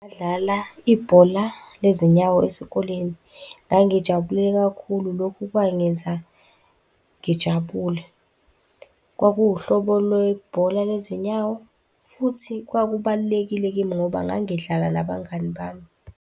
Badlala ibhola lezinyawo esikoleni. Ngangijabule kakhulu. Lokhu kwangenza ngijabule. Kwakuwuhlobo lwebhola lezinyawo, futhi kwakubalulekile kimi ngoba ngangidlala nabangani bami.